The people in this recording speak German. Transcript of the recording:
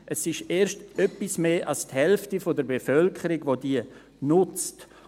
Es ist erst etwas mehr als die Hälfte der Bevölkerung, welche diese nutzt.